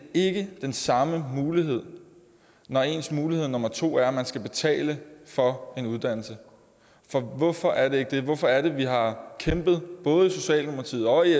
ikke den samme mulighed når ens mulighed nummer to er at man skal betale for en uddannelse hvorfor er det ikke det hvorfor er det at vi har kæmpet både i socialdemokratiet og i